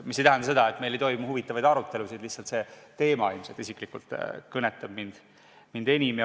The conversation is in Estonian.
See ei tähenda seda, et meil ei toimu huvitavaid arutelusid, lihtsalt see teema ilmselt isiklikult kõnetab mind enim.